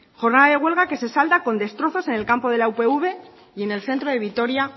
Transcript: jornada de huelga que se salda con destrozos en el campo de la upv y en el centro de vitoria